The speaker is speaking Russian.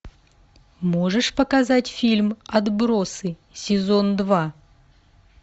можешь показать фильм отбросы сезон два